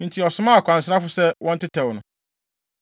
ɔsomaa akwansrafo sɛ wɔntetɛw no.